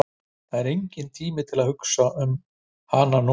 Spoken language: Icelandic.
En það er enginn tími til að hugsa um hana núna.